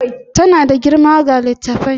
Tana da girma ga littattafai